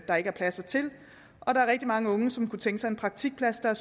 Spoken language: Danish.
der ikke er pladser til og der er rigtig mange unge som kunne tænke sig en praktikplads der er